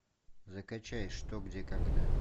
закачай что где когда